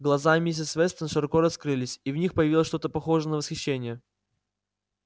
глаза миссис вестон широко раскрылись и в них появилось что-то похожее на восхищение